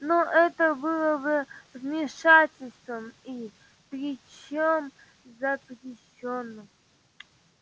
но это было бы вмешательством и причём запрещённым